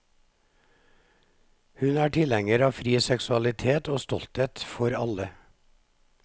Hun er tilhenger av fri seksualitet og stolthet for alle.